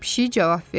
Pişik cavab verdi.